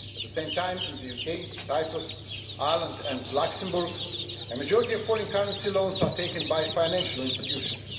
At the same time in the UK, Cyprus, Ireland and Luxembourg, a majority of foreign currency loans are taken by financial institutions.